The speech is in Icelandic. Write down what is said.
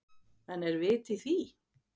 En er vit í því?